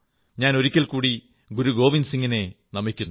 ഞാൻ ഒരിക്കൽ കൂടി ഗുരു ഗോവിന്ദ് സിംഗിനെ നമിക്കുന്നു